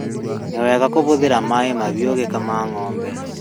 Nĩ wega kũhũthĩra maĩ mahiũ ũgĩkama ng'ombe